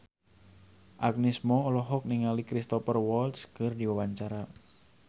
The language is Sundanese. Agnes Mo olohok ningali Cristhoper Waltz keur diwawancara